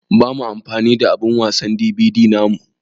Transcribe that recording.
Ba mu amfani da abun wasan DVD namu.